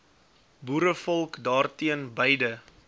boerevolk daarteen beide